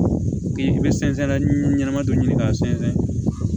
Bi i bɛ sɛnsɛn na ɲɛnama dɔ ɲini k'a sɛnsɛn